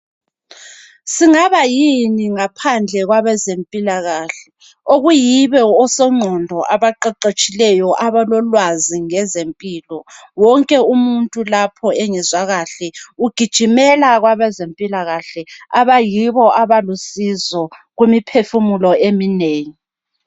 Singaba yini ngaphandle kwabezempilakahle. Okuyibo osongqondo abaqeqetshileyo, abalolwazi ngezempilo. Wonke umuntu lapho engezwa kahle ugijimela kwabezempilakahle abayibo abalusizo kumiphefumulo eminengi.